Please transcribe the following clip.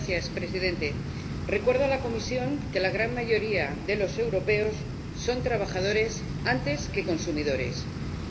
Señor Presidente, recuerdo a la Comisión que la gran mayoría de los europeos son trabajadores antes que consumidores,